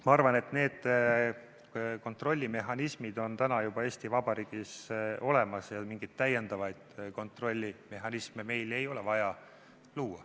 Ma arvan, et need kontrollmehhanismid on juba Eesti Vabariigis olemas ja mingeid täiendavaid kontrollmehhanisme meil ei ole vaja luua.